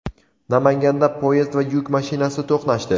Namanganda poyezd va yuk mashinasi to‘qnashdi.